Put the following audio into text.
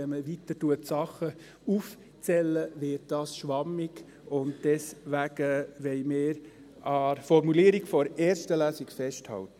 Wenn man weiter Dinge aufzählt, wird es schwammig, und deswegen wollen wir an der Formulierung der ersten Lesung festhalten.